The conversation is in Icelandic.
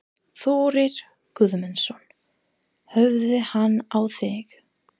Þórir Guðmundsson: Horfði hann á þig?